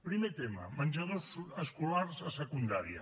primer tema menjadors escolars a secundària